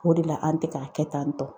O de la an tɛ k'a kɛ tan tɔ.